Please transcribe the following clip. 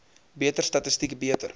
beter statistiek beter